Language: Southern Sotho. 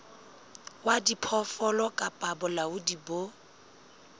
wa diphoofolo kapa bolaodi bo